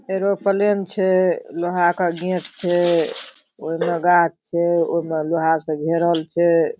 Aeroplane छै लोहा का गेट छै ओय मा गाँछ छै ओय मा लोहा से घेरल छै ।